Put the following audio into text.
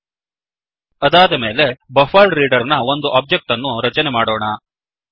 ಅದಾದ ಮೇಲೆ buffered reader buffered reader ನ ಒಂದು ಒಬ್ಜೆಕ್ಟ್ ಅನ್ನು ರಚನೆ ಮಾಡೋಣ